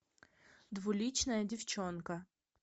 двуличная девчонка